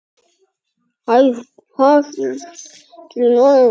Horft til norðurs frá